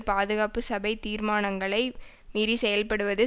பாதுகாப்பு சபை தீர்மானங்களை மீறி செயல்படுவது